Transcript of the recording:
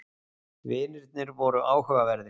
Vinirnir voru áhugaverðir.